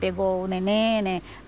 Pegou o neném, né?